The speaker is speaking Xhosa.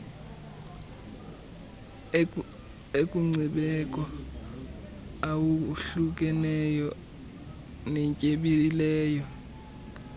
enkcubeko awohlukeneyo natyebileyo